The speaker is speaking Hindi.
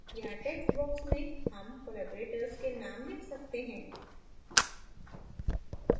यहाँ text box में names collaborators collaborators के names लिख सकते हैं